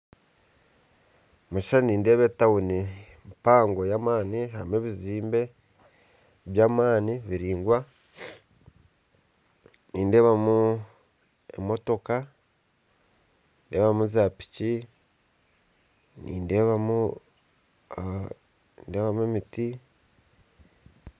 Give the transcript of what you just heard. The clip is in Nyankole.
Omu kishushani nindeeba etauni mpango y'amaani harimu ebizimbe by'amaani biraingwa , nideebamu emotooka, za piiki, nideebamu emiti